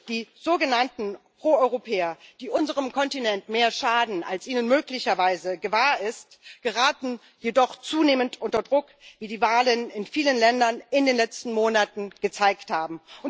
Die sogenannten Pro Europäer, die unserem Kontinent mehr schaden als ihnen vielleicht bewusst ist, geraten jedoch zunehmend unter Druck, wie die Wahlen in vielen Ländern in den letzten Monaten gezeigt haben.